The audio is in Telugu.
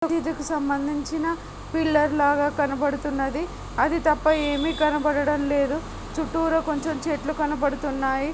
మసీదుకు సంబంధించిన పిల్లర్ లాగా కనబడుతున్నది. అది తప్ప ఏమి కనబడడం లేదు. చుట్టూరా కొంచెం చెట్లు కనపడుతున్నాయి.